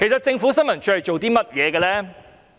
政府新聞處的工作是甚麼呢？